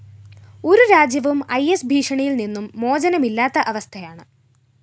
ഒരു രാജ്യവും I S ഭീഷണിയില്‍ നിന്നും മോചനമില്ലാത്ത അവസ്ഥയാണ്